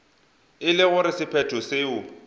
e le gore sephetho seo